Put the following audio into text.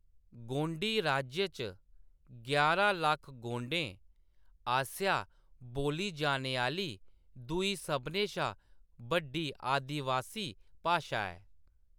गोंडी राज्य च यारां लक्ख गोंडें आस्सेआ बोल्ली जाने आह्‌‌‌ली दूई सभनें शा बड्डी आदिबासी भाशा ऐ।